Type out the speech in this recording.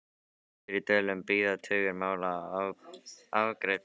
Suður í Dölum bíða tugir mála óafgreidd.